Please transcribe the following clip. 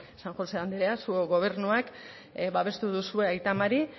san josé andrea zuok gobernuak babestu duzue aita mari